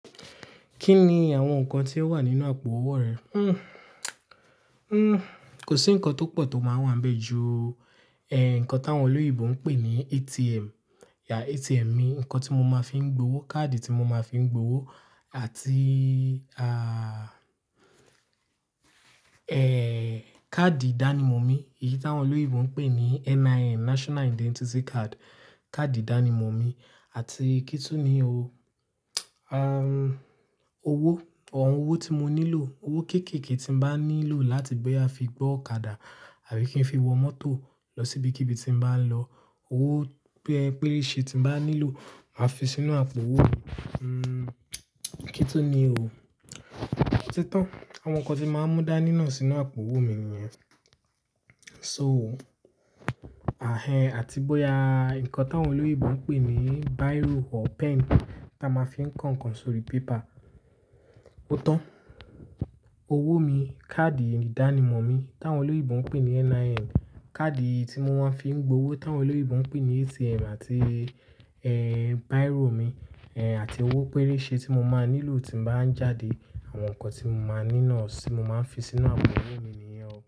Kí ni àwọn nǹkan tí ó wà nínú àpò owó rẹ? Hmm, kò sí nǹkan tó pọ̀ tó máa ń wà níbẹ̀ ju, eh, nǹkan táwọn olóyèbo ń pè ní ATM. Yeah, ATM mi, nǹkan tí mo máa fi ń gbowó, káàdì tí mo máa fi ń gbowó àti, ah, eh, káàdì ìdánimọ̀ mi, èyí táwọn oloyinbo ń pè ní NIN, National Identity Card, káàdì ìdánimọ̀ mi àti kí tun ni o, um, owó, àwọn owó tí mo nílò, owó kéékèèké tí n bá nílò láti bóya fi gbọ́kadà àbí kí n fi wọ mọ́tò lọ síbikíbi tí n bá lọ. Owó p-pérése tí n bá nílò máa fi sínú àpò owó mi. Hmm, kí tun ni o. Ó ti tán. Àwọn nǹkan tí máa mú dání náà sínú àpò owó mi nìyẹn. So, ahẹ́n àti bóya nǹkan táwọn olóyèbo ń pè ní biro or pen tí a máa fi ń kọ̀ nkan sórí paper. Ó tán. Owó mi, káàdì ìdánimọ̀ mi táwọn oloyinbo ń pè ní NIN, káàdì tí mo máa fi ń gbowó táwọn oloyinbo ń pè ní ATM àti, eh, biro mi, eh, àti owó pérése tí mo máa nílò tí n bá ń jáde. Àwọn nǹkan tí mo máa ní náà sí mo máa ń fi sínú àpò owó mi nìyẹn.